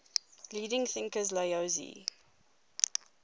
leading thinkers laozi